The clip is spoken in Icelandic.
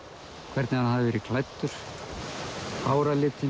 hvernig hann hafði verið klæddur